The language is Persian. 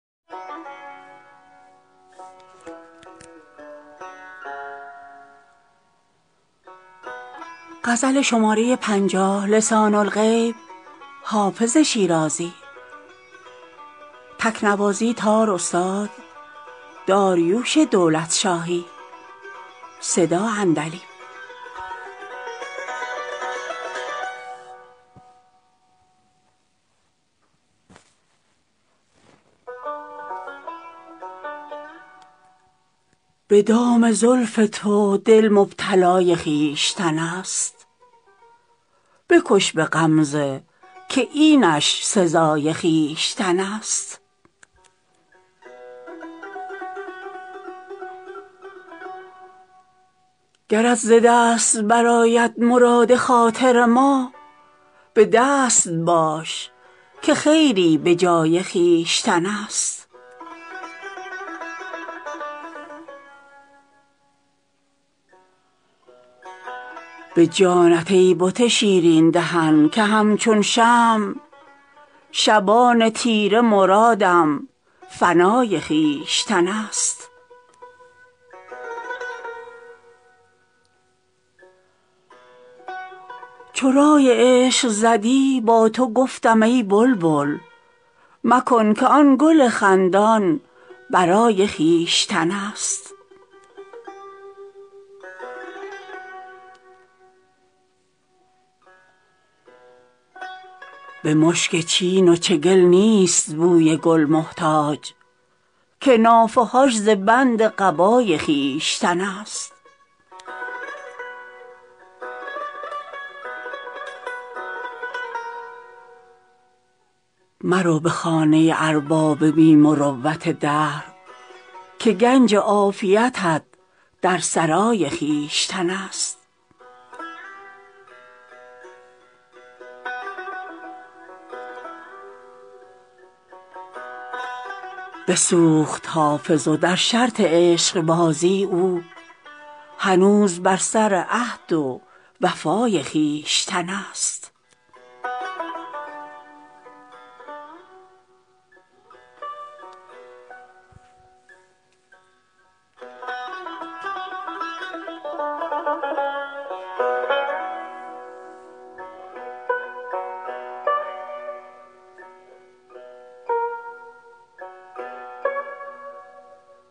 به دام زلف تو دل مبتلای خویشتن است بکش به غمزه که اینش سزای خویشتن است گرت ز دست برآید مراد خاطر ما به دست باش که خیری به جای خویشتن است به جانت ای بت شیرین دهن که همچون شمع شبان تیره مرادم فنای خویشتن است چو رای عشق زدی با تو گفتم ای بلبل مکن که آن گل خندان به رای خویشتن است به مشک چین و چگل نیست بوی گل محتاج که نافه هاش ز بند قبای خویشتن است مرو به خانه ارباب بی مروت دهر که گنج عافیتت در سرای خویشتن است بسوخت حافظ و در شرط عشقبازی او هنوز بر سر عهد و وفای خویشتن است